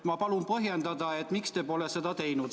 Ma palun põhjendada, miks te pole mulle vastanud.